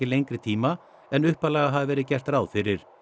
lengri tíma en upphaflega hafi verið gert ráð fyrir